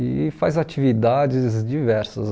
E faz atividades diversas.